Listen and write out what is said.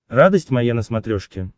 радость моя на смотрешке